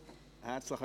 Herzlichen